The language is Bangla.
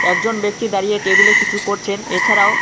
দুজন ব্যক্তি দাঁড়িয়ে টেবিলে কিছু করছেন এছাড়াও--